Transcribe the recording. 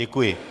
Děkuji.